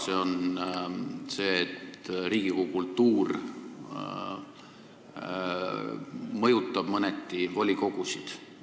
See on see, et Riigikogu kultuur mõjutab mõneti volikogusid.